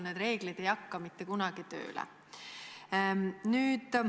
Need reeglid ei hakka mitte kunagi tööle.